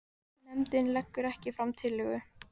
Nefndin leggur ekki fram tillögu